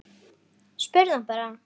Spurðu hann bara.